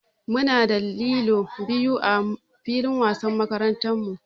Muna da lilo biyu ã filin wasan makarantan mu.